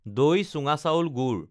দৈ চুঙা চাউল গুড়